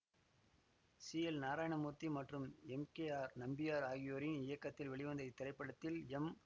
C L Narayanamurthy மற்றும் M K R Nambiar ஆகியோரின் இயக்கத்தில் வெளிவந்த இத்திரைப்படத்தில் எம்